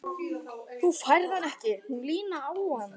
Þú færð hann ekki. hún Lína á hann!